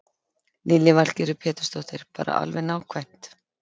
Lillý Valgerður Pétursdóttir: Bara alveg nákvæmt?